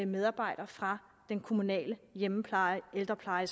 medarbejdere fra den kommunale hjemmepleje eller ældrepleje